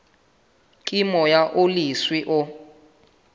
ke moya o leswe o